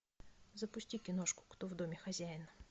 запусти киношку кто в доме хозяин